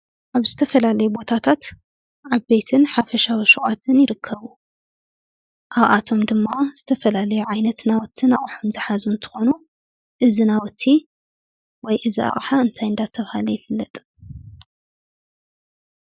ኣብ ዝተፈላለዩ ቦታታት ዓበይትን ሓፈሻዊ ሹቃትን ይርከቡ። ኣብኣቶም ድማ ዝተፈላለዩ ዓይነት ናውትን ኣቁሑን ዝሓዙ እንትኮኑ እዚ ናውቲ ወይ እዚ ኣቅሓ እንታይ እንዳ ተብሃለ ይፍለጥ ?